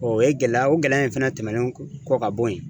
O ye gɛlɛya o gɛlɛya in fɛnɛ tɛmɛnen kɔ ka bɔ yen